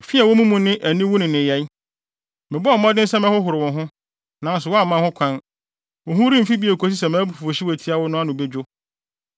“ ‘Fi a ɛwɔ wo mu no ne aniwu nneyɛe. Mebɔɔ mmɔden sɛ mɛhohoro wo ho, nanso woamma ho kwan, wo ho remfi bio kosi sɛ mʼabufuwhyew a etia wo no ano bedwo.